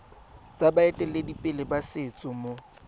tsa baeteledipele ba setso mo